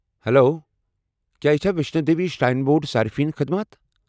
Hello! کیٛاہ یہ چھا ویشنو دیوی شراین بورڈ صارِفین خدمات ؟